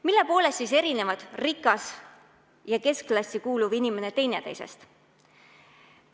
Mille poolest erinevad rikas ja keskklassi kuuluv inimene teineteisest?